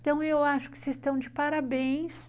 Então, eu acho que vocês estão de parabéns.